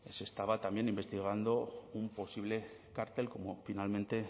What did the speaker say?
se estaba investigando un posible cártel como finalmente